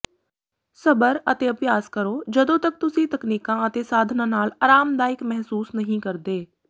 ਸਬਰ ਅਤੇ ਅਭਿਆਸ ਕਰੋ ਜਦੋਂ ਤਕ ਤੁਸੀਂ ਤਕਨੀਕਾਂ ਅਤੇ ਸਾਧਨਾਂ ਨਾਲ ਆਰਾਮਦਾਇਕ ਮਹਿਸੂਸ ਨਹੀਂ ਕਰਦੇ